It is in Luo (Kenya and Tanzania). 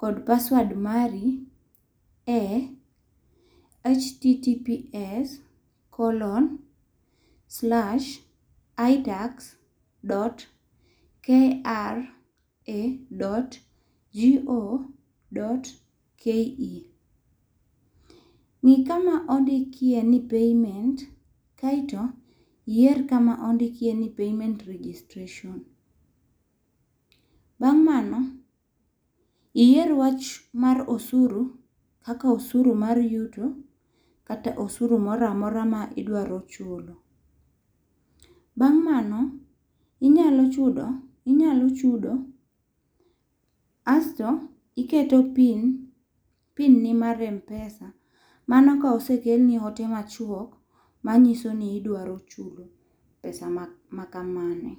kod password mari e https colon slash itax dot kra dot go dot ke. Ng'i kama ondikie ni payment kaito iyeir kama ondik ni payment registration bang' mano iyier wach mar osuru kaka osuru mar yuto kata osuru moro amora ma idwaro chulo. Bang' mano nyalo chudo inyalo chudo asto iketo pin, pin ni mar mpesa mano ka osekel ni ote ma chwokk ma ng'iso ni idwaro chudo pesa ma ka pesa ma kamano.